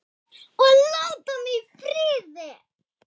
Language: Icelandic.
OG LÁTA MIG Í FRIÐI!